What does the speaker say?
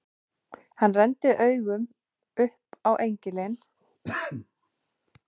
Hann renndi augunum upp á engilinn með bogann og píluna fyrir ofan.